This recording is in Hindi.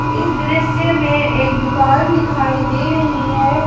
इस दृश्य में एक दुकान दिखाई दे रही है।